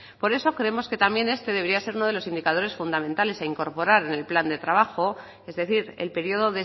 por eso creemos que también este debería ser uno de los indicadores fundamentales a incorporar en el plan de trabajo es decir el periodo